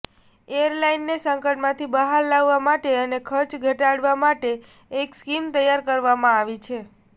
એરલાઈનને સંકટમાંથી બહાર લાવવા માટે અને ખર્ચ ઘટાડવા માટે એક સ્કીમ તૈયાર કરવામાં આવી છે